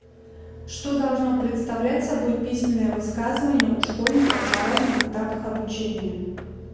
что должно представлять собой письменное высказывание у школьников на разных этапах обучения